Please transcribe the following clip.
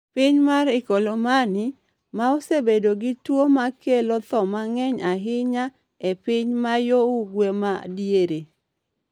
Piny mar Ikolomani, ma osebedo gi tuwo ma kelo tho mang’eny ahinya e piny ma yo ugwe’ ma diere,